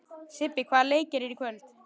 Sibbi, hvaða leikir eru í kvöld?